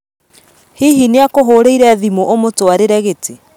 Hihi nĩakũhũrĩire thimũũmũtwarĩre gĩtĩ?